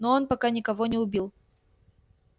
но он пока никого не убил